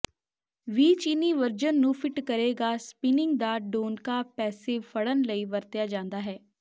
ਵੀ ਚੀਨੀ ਵਰਜਨ ਨੂੰ ਫਿੱਟ ਕਰੇਗਾ ਸਪਿਨਿੰਗ ਦਾ ਡੋਨਕਾ ਪੈਸਿਵ ਫੜਨ ਲਈ ਵਰਤਿਆ ਜਾਂਦਾ ਹੈ